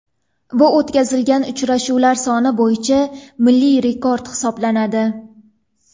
Bu o‘tkazilgan uchrashuvlar soni bo‘yicha milliy rekord hisoblanadi.